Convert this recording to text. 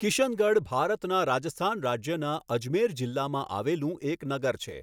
કિશનગઢ ભારતના રાજસ્થાન રાજ્યના અજમેર જિલ્લામાં આવેલું એક નગર છે.